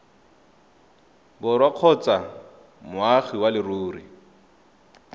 borwa kgotsa moagi wa leruri